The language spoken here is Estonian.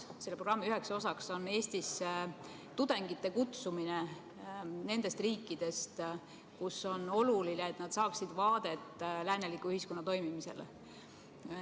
Selle programmi üheks osaks on Eestisse tudengite kutsumine nendest riikidest, kus on oluline saada vaadet lääneliku ühiskonna toimimisele.